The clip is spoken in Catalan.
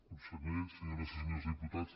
consellers senyores i se·nyors diputats